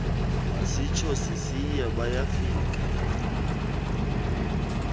masitsho sisiya bayafika